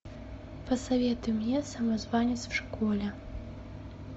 посоветуй мне самозванец в школе